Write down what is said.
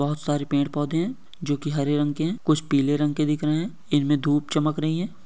बहोत सारे पेड़-पौधे हैं जोकि हरे रंग के हैं कुछ पीले रंग के दिख रहे हैं इनमें धूप चमक रही है।